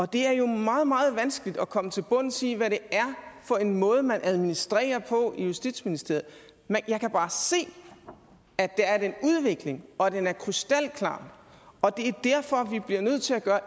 det er jo meget meget vanskeligt at komme til bunds i hvad det er for en måde man administrerer på i justitsministeriet jeg kan bare se at der er den udvikling og at den er krystalklar og det er derfor vi bliver nødt til at gøre